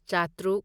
ꯆꯥꯇ꯭ꯔꯨꯛ